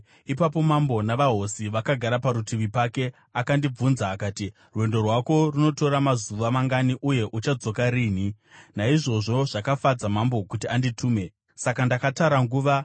Ipapo mambo, navahosi vakagara parutivi pake, akandibvunza akati, “Rwendo rwako runotora mazuva mangani, uye uchadzoka rinhi?” Naizvozvo zvakafadza mambo kuti anditume; saka ndakatara nguva.